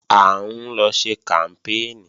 À ń lọ ṣe kàmpéènì